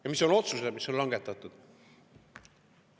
Ja mis on otsused, mis on langetatud?